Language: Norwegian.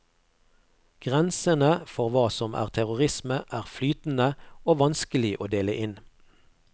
Grensene for hva som er terrorisme, er flytende og vanskelig å dele inn.